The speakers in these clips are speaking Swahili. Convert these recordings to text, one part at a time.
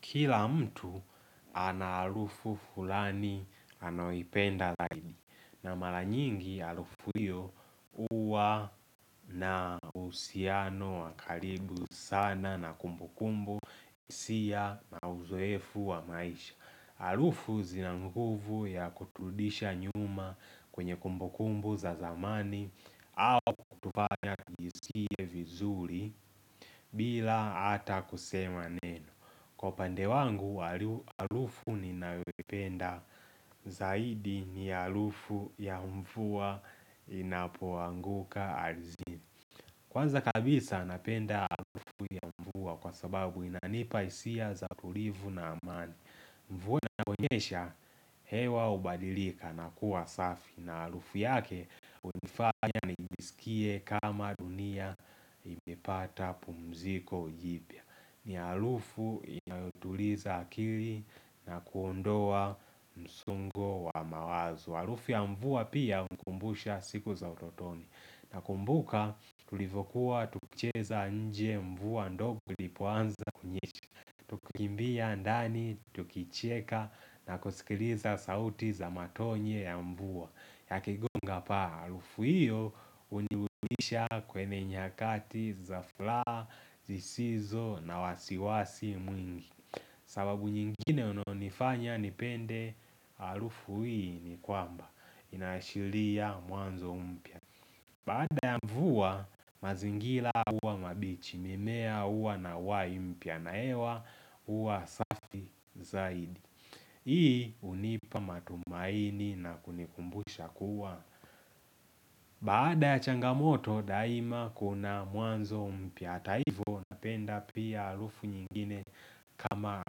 Kila mtu ana alufu fulani anayoipenda laidi na mara nyingi alufu hiyo uwa na uhusiano wakaribu sana na kumbukumbu isia na uzoefu wa maisha Alufu zina nguvu ya kuturudisha nyuma kwenye kumbukumbu za zamani au kutufanya tujisikie vizuri bila ata kusema neno Kwa upande wangu, arufu ninayoipenda zaidi ni arufu ya mvuwa inapoanguka ardhini Kwanza kabisa napenda arufu ya mvua kwa sababu inanipa hisia za tulivu na amani Mvuwa inaponyesha, hewa hubadilika na kuwa safi na arufu yake hunifanya nijisikie kama dunia imepata pumziko jipya ni arufu inayotuliza akili na kuondoa msongo wa mawazo Arufu ya mvua pia unikumbusha siku za utotoni na kumbuka tulivokuwa tukucheza nje mvua ndogo ilipoanza kunyesha tukimbia ndani tukicheka na kusikiliza sauti za matonye ya mvua yakigonga paa alufu hiyo hunirudisha kwenye nyakati za fulaa, zisizo na wasiwasi mwingi sababu nyingine unonifanya nipende alufu hiyo ni kwamba inashiria mwanzo mpya Baada ya mvua mazingila uwa mabichi mimea huwa na uhai mpya na hewa huwa safi zaidi Hii hunipa matumaini na kunikumbusha kuwa Baada ya changamoto daima kuna mwanzo mpya hata hivo Napenda pia alufu nyingine kama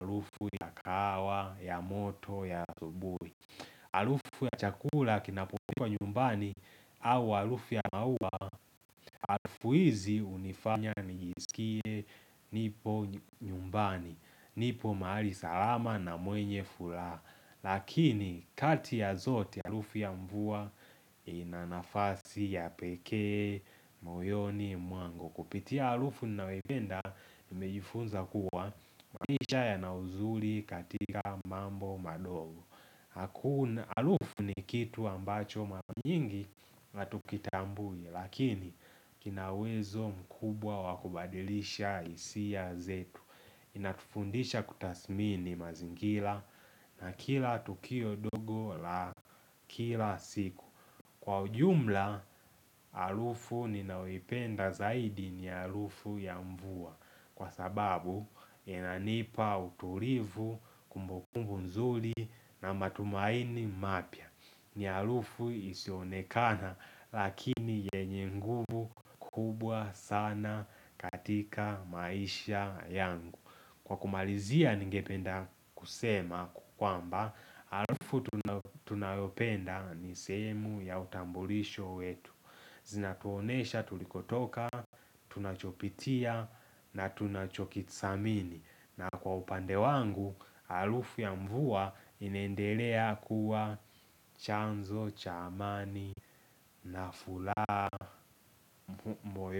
alufu ya kahawa, ya moto, ya asubui Arufu ya chakula kinapopikwa nyumbani au alufu ya maua Alufu hizi hunifanya nijisikie nipo nyumbani nipo mahali salama na mwenye furaha Lakini kati ya zote arufu ya mvua ina nafasi ya pekee, moyoni, mwangu Kupitia arufu ninayoipenda nimejifunza kuwa maisha yana uzuri katika mambo madogo hakuna Arufu ni kitu ambacho mara nyingi hatukitambui Lakini kinauwezo mkubwa wakubadilisha hisia zetu Inatufundisha kutasmini mazingila na kila tukio dogo la kila siku Kwa ujumla, alufu ninayoipenda zaidi ni alufu ya mvua Kwa sababu, inanipa utulivu kumbukumbu nzuri na matumaini mapya ni alufu isionekana, lakini yenye nguvu kubwa sana katika maisha yangu Kwa kumalizia ningependa kusema kwamba, arufu tunayopenda ni sehemu ya utambulisho wetu Zinatuonyesha tulikotoka, tunachopitia na tunachokithamini na kwa upande wangu, harufu ya mvua inaendelea kuwa chanzo, cha amani na furaha moyoni.